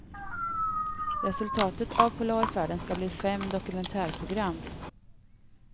Resultatet av polarfärden ska bli fem dokumentärprogram.